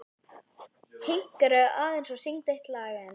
Hinkraðu aðeins og syngdu eitt lag enn.